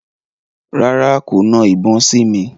Rárá, kò na ìbọn sí mi.